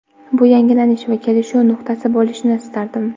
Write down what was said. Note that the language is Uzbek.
Bu yangilanish va kelishuv nuqtasi bo‘lishini istardim.